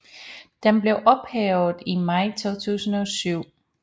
Den blev ophævet i maj 2017